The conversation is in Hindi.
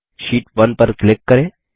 शीट 1 पर क्लिक करें